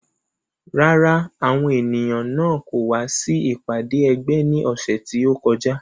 Rárá, àwọn ènìyàn náà kò wá sí ìpàdé ẹgbẹ́ ní ọ̀sẹ̀ tí ó kọjá